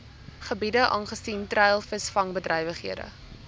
gebiede aangesien treilvisvangbedrywighede